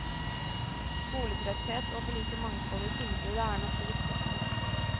Skoletretthet og for lite mangfold i tilbudet er nok det viktigste.